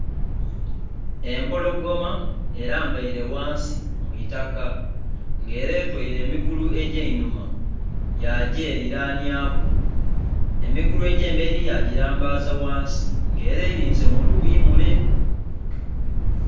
Empologoma erambaire ghansi mwiitaka nga era etwaire emigulu egyainhuma yagyeriranyaku emigulu egyemberi yagirambaza ghansi nga era erinze muluyi mule.